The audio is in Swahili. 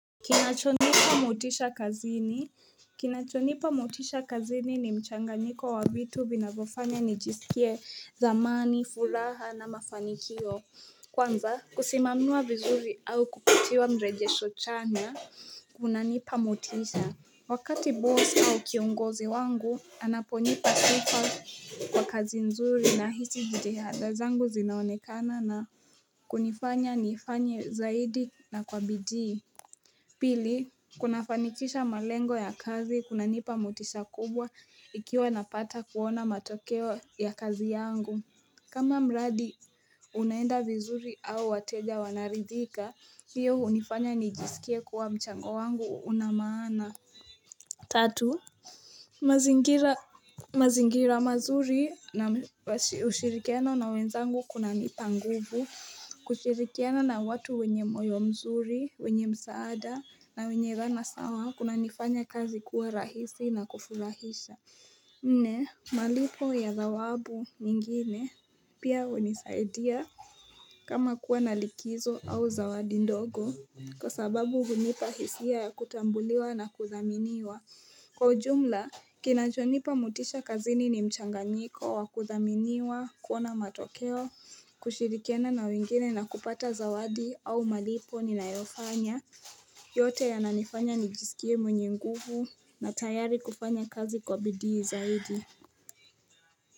Kinachonipa motisha kazini ni mchanganyiko wa vitu vinavyofanya nijisikie thamani, furaha na mafanikio Kwanza kusimamiwa vizuri au kupatiwa mrejesho chanya, kunanipa motisha. Wakati boss au kiongozi wangu anaponipa sifa kwa kazi nzuri nahisi jihada zangu zinaonekana na kunifanya niifanye zaidi na kwa bidii Pili, kunafanikisha malengo ya kazi, kunanipa motisha kubwa ikiwa napata kuona matokeo ya kazi yangu. Kama mradi, unaenda vizuri au wateja wanaridhika, hiyo hunifanya nijisikie kuwa mchango wangu una maana. Tatu, mazingira mazuri na ushirikiana na wenzangu kunanipa nguvu kushirikiana na watu wenye moyo mzuri, wenye msaada, na wenye dhana sawa, kunanifanya kazi kuwa rahisi na kufurahisha Nne, malipo ya dhawabu nyingine pia hunisaidia kama kuwa na likizo au zawadi ndogo. Kwa sababu hunipa hisia ya kutambuliwa na kudhaminiwa Kwa ujumla, kinachonipa motisha kazini ni mchanganyiko wa kuthaminiwa, kuona matokeo, kushirikiana na wengine na kupata zawadi au malipo ninayofanya yote yananifanya nijisikie mwenye nguvu na tayari kufanya kazi kwa bidii zaidi.